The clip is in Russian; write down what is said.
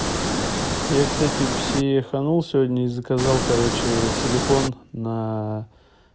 я кстати психанул сегодня и заказал короче силикон на